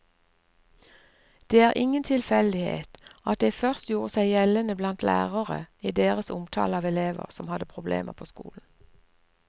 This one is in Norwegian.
Det er ingen tilfeldighet at det først gjorde seg gjeldende blant lærere i deres omtale av elever som hadde problemer på skolen.